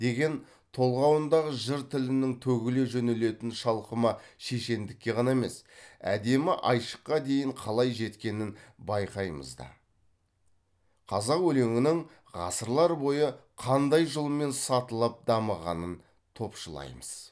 деген толғауындағы жыр тілінің төгіле жөнелетін шалқыма шешендікке ғана емес әдемі айшыққа дейін қалай жеткенін байқаймыз да қазақ өлеңінің ғасырлар бойы қандай жолмен сатылап дамығанын топшылаймыз